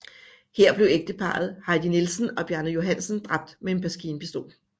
Her blev ægteparret Heidi Nielsen og Bjarne Johansen dræbt med en maskinpistol